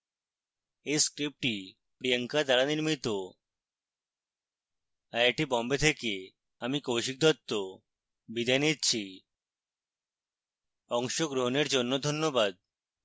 এই script priyanka দ্বারা নির্মিত